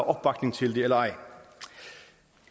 opbakning til det eller ej